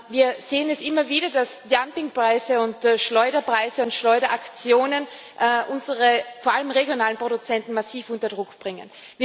Wir sehen es immer wieder, dass Dumpingpreise, Schleuderpreise und Schleuderaktionen unsere vor allem regionalen Produzenten massiv unter Druck bringen.